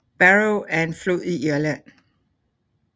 Barrow er en flod i Irland